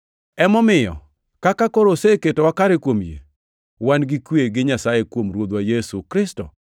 Emomiyo, kaka koro oseketwa kare kuom yie, wan gi kwe gi Nyasaye kuom Ruodhwa Yesu Kristo,